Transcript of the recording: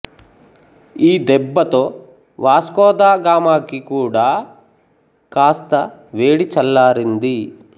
ఈ దెబ్బతో Vasco da గామాకి కూడా కాస్త వేడి చల్లారింది